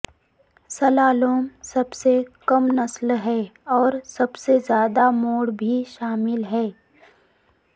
slalom سب سے کم نسل ہے اور سب سے زیادہ موڑ بھی شامل ہے